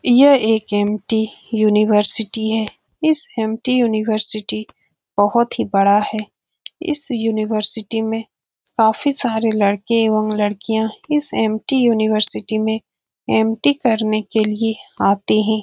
यह एक MT. University है। इस एम.टी. यूनिवर्सिटी बहुत ही बड़ा है। इस यूनिवर्सिटी में काफी सारे लड़के और लड़कियां इस एम.टी. यूनिवर्सिटी में एम.टी. करने के लिए आते हैं।